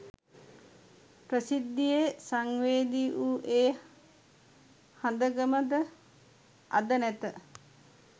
ප්‍රසිද්ධියේ සංවේදී වූ ඒ හඳගම ද අද නැත.